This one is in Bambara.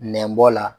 Nɛnbɔ la